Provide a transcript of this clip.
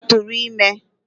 Gaa tụrụ ime!